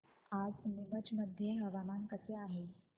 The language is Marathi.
आज नीमच मध्ये हवामान कसे आहे